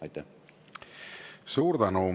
Suur tänu!